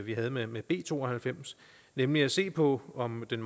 vi havde med med b to og halvfems nemlig at se på om den